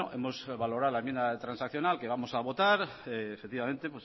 hemos valorado la enmienda transaccional que vamos a votar efectivamente